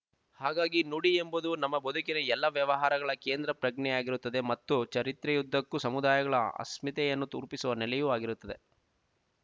ಹಾಗಾಗಿ ನುಡಿ ಎಂಬುದು ನಮ್ಮ ಬದುಕಿನ ಎಲ್ಲ ವ್ಯವಹಾರಗಳ ಕೇಂದ್ರ ಪ್ರಜ್ಞೆಯಾಗಿರುತ್ತದೆ ಮತ್ತು ಚರಿತ್ರೆಯುದ್ದಕ್ಕೂ ಸಮುದಾಯಗಳ ಅಸ್ಮಿತೆಯನ್ನು ತುರೂಪಿಸುವ ನೆಲೆಯೂ ಆಗಿರುತ್ತದೆ